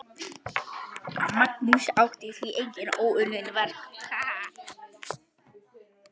Magnús átti því óunnin verk.